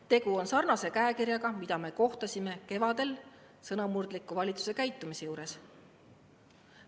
Tegu on samasuguse käekirjaga, mida me nägime kevadel sõnamurdliku valitsuse käitumise juures.